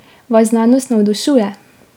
Vas znanost navdušuje?